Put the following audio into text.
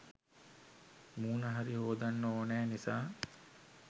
මූණ හරි හෝදන්න ඕනෑ නිසා